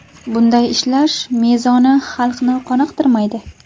Bunday ishlash mezoni xalqni qoniqtirmaydi.